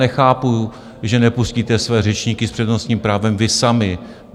Nechápu, že nepustíte své řečníky s přednostním právem vy sami.